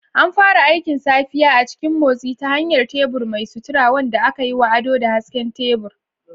An fara aikin safiya a cikin motsi ta hanyar tebur mai sutura, wanda aka yi wa ado da hasken tebur.